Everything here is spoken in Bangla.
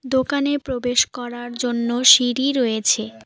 দোকানে প্রবেশ করার জন্য সিঁড়ি রয়েছে।